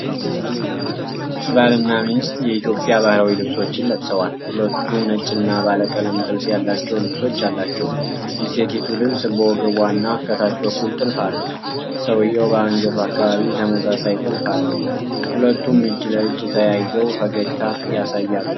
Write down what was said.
ባልና ሚስት የኢትዮጵያ ባህላዊ ልብሶችን ለብሰዋል። ሁለቱም ነጭ እና ባለቀለም ጥልፍ ያላቸው ልብሶች አላቸው። የሴቲቱ ልብስ በወገቧ እና ከታች በኩል ጥልፍ አለው። ሰውየው በአንገቱ አካባቢ ተመሳሳይ ጥልፍ አለው። ሁለቱም እጅ ለእጅ ተያይዘው ፈገግታ ያሳያሉ።